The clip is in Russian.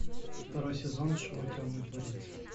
второй сезон шоу темный дворецкий